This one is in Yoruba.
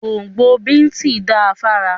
Gbóǹgbò bíìtì da fára.